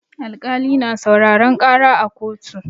Alƙali na sauraran ƙara a koto.